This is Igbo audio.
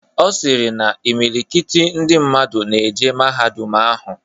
Ọ sịrị na imilikiti ndị mmadụ na-eje mahadum ahụ.